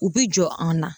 U bi jɔ an na